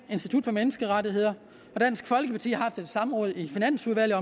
institut for menneskerettigheder og dansk folkeparti har haft et samråd i finansudvalget